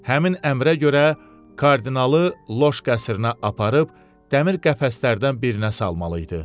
Həmin əmrə görə kardinalı Loş qəsrinə aparıb dəmir qəfəslərdən birinə salmalı idi.